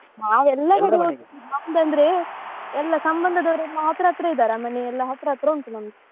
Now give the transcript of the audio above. ನಾವ್ ಎಲ್ಲ ನಮ್ದು ಅಂದ್ರೆ ಸಂಬಂಧದವರೆಲ್ಲ ಹತ್ರ ಹತ್ರ ಇದ್ದಾರ ಮನೆಯೆಲ್ಲಾ ಹತ್ರ ಹತ್ರ ಉಂಟು ನಮ್ದು.